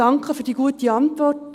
: Danke für die gute Antwort.